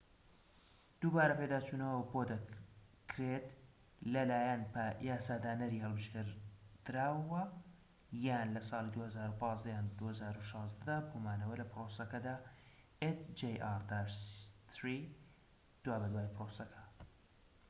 دوابەدوای پرۆسەکە، hjr-3 دووبارە پێداچونەوەی بۆدەکرێت لەلایەن یاسادانەری هەڵبژێردراوەوە یان لە ساڵی ٢٠١٥ یان ٢٠١٦ دا بۆ مانەوە لە پرۆسەکەدا